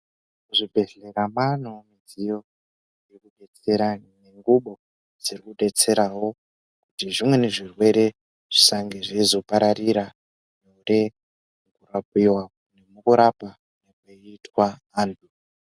Muzvibhehlera maanewo midziyo inodetsera nengubo dzirikudetserawo kuti zvimweni zvirwere zvisange zveizopararira mukurapiwa nekurapa kunoitwa antu.